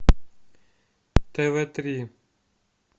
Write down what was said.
тв три